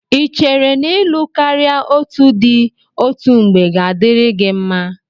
Ị chere n'ịlụ karịa otù di òtù mgbe ga-adịrị gị mma?